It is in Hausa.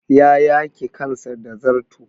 Ya yake kansa da zarto.